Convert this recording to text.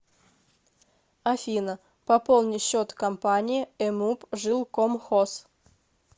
афина пополни счет компании эмуп жилкомхоз